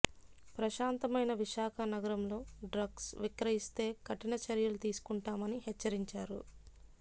ప్రశాంతమైన విశాఖ నగరంలో డ్రగ్స్ విక్రయిస్తే కఠిన చర్యలు తీసుకుంటామని హెచ్చరించారు